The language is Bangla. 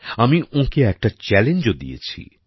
আমি ওঁকে একটা চ্যালেঞ্জ ও দিয়েছি